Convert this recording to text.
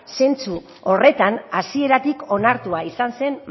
zentzu horretan hasieratik onartua izan zen